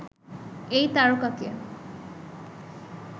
এই তারকাকে